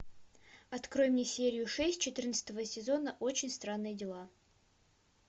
открой мне серию шесть четырнадцатого сезона очень странные дела